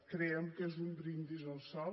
creiem que és un brindis al sol